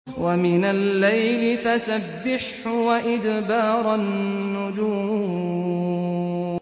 وَمِنَ اللَّيْلِ فَسَبِّحْهُ وَإِدْبَارَ النُّجُومِ